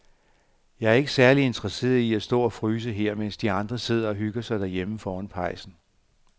Jeg er ikke særlig interesseret i at stå og fryse her, mens de andre sidder og hygger sig derhjemme foran pejsen.